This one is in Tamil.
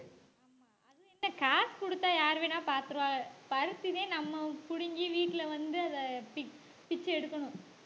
காசு குடுத்தா யாரு வேணா பாத்துருவாங்க பருத்தியை நம்ம புடுங்கி வீட்டுல வந்து அதை பிச்~பிச்சை எடுக்கணும்